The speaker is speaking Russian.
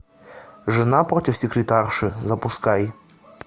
жена против секретарши запускай